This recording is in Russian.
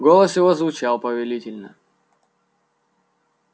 голос его звучал повелительно